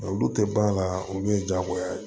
Olu tɛ ban a la olu ye diyagoya ye